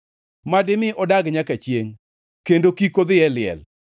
ma dimi odag nyaka chiengʼ kendo kik odhi e liel.